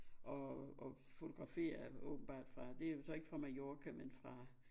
Og og fotograferer åbenbart fra det jo så ikke fra Mallorca men fra